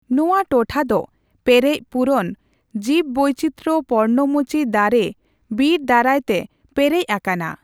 ᱱᱚᱣᱟ ᱴᱚᱴᱷᱟ ᱫᱚ ᱯᱮᱨᱮᱡ ᱯᱩᱨᱚᱱ ᱡᱤᱵᱽᱵᱟᱹᱭᱪᱤᱛᱨᱚ ᱯᱚᱨᱱᱚᱢᱚᱪᱤ ᱫᱟᱨᱮ ᱵᱤᱨ ᱫᱟᱨᱟᱭᱛᱮ ᱯᱮᱨᱮᱡ ᱟᱠᱟᱱᱟ ᱾